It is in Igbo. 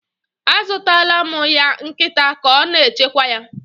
A zụtaala mụ ya nkịta ka o na-echekwa ya.